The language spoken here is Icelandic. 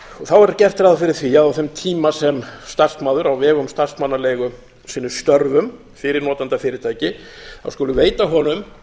þá er gert ráð fyrirþví að á þeim tíma sem starfsmaður á vegum starfsmannaleigu sinni störfum fyrir notendafyrirtæki skuli veita honum